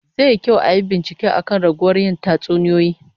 Zai yi kyau ayi bincike akan raguwar yin tatsuniyoyi